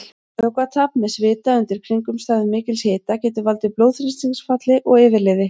Vökvatap með svita undir kringumstæðum mikils hita getur valdið blóðþrýstingsfalli og yfirliði.